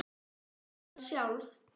Ég skal sjálf.